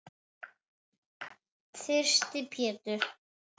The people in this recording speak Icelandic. Þyrsti Pétur.